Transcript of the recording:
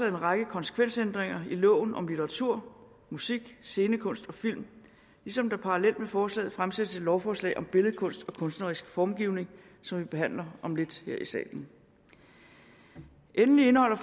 en række konsekvensændringer i loven om litteratur musik scenekunst og film ligesom der parallelt med forslaget fremsættes et lovforslag om billedkunst og kunstnerisk formgivning som vi behandler om lidt her i salen endelig indeholder